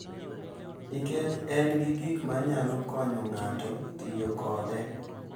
Nikech en gi gik ma nyalo konyo ng’ato tiyo kode.